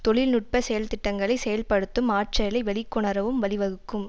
தொழில் நுட்ப செயல் திட்டங்களை செயல்படுத்தும் ஆற்றலை வெளிக்கொணரவும் வழிவகுக்கும்